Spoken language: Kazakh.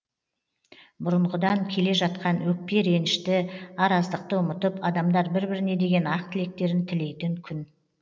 бұрынғыдан келе жатқан өкпе ренішті араздықты ұмытып адамдар бір біріне деген ақ тілектерін тілейтін күн